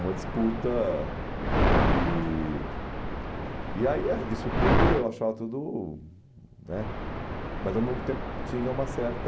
Uma disputa e... E aí, ah, isso tudo, eu achava tudo né... Mas, ao mesmo tempo, tinha uma certa...